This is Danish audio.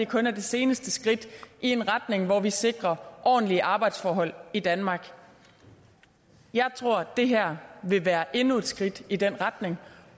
kun er det seneste skridt i en retning hvor vi sikrer ordentlige arbejdsforhold i danmark jeg tror det her vil være endnu et skridt i den retning